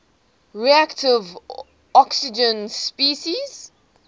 reactive oxygen species